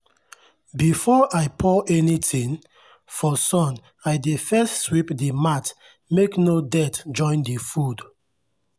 before i pour anything for sun i dey first sweep the mat make no dirt join the food.